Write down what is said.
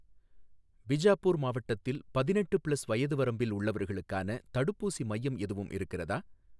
பிஜாப்பூர் மாவட்டத்தில் பதினெட்டு ப்ளஸ் வயது வரம்பில் உள்ளவர்களுக்கான தடுப்பூசி மையம் எதுவும் இருக்கிறதா?